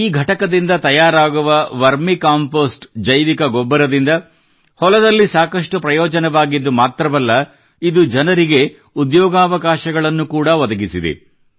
ಈ ಘಟಕದಿಂದ ತಯಾರಾಗುವ ಜೈವಿಕ ರಸಗೊಬ್ಬರದಿಂದ ಹೊಲದಲ್ಲಿ ಸಾಕಷ್ಟು ಪ್ರಯೋಜನವಾಗಿದ್ದು ಮಾತ್ರವಲ್ಲ ಇದು ಜನರಿಗೆ ಉದ್ಯೋಗಾವಕಾಶಗಳನ್ನು ಕೂಡಾ ಒದಗಿಸಿದೆ